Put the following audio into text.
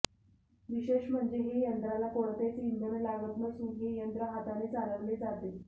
विशेष म्हणजे हे यंत्राला कोणतेच इंधन लागत नसून हे यंत्र हाताने चालविले जाते